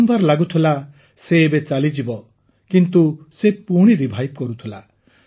ବାରମ୍ବାର ଲାଗୁଥିଲା ସେ ଏବେ ଚାଲିଯିବ କିନ୍ତୁ ସେ ପୁଣି ରିଭାଇଭ୍ କରୁଥିଲା